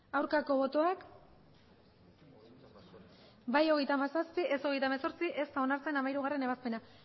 aurkako botoak bai hogeita hamazazpi ez hogeita hemezortzi ez da onartzen hamairugarrena ebazpena